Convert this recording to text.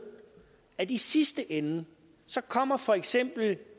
at i sidste ende kommer for eksempel